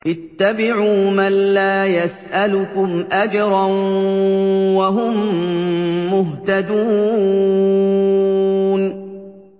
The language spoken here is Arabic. اتَّبِعُوا مَن لَّا يَسْأَلُكُمْ أَجْرًا وَهُم مُّهْتَدُونَ